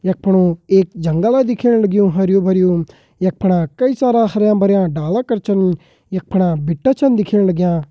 यख पणू एक जंगल वा दिख्येण लगयूं हर्युं-भर्युं यख पणा कई सारा हरयां-भरयां डाला कर छन यख पणा भिटा छन दिख्येण लाग्यां।